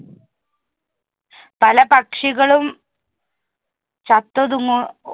പല പക്ഷികളും ചത്തൊതുങ്ങും.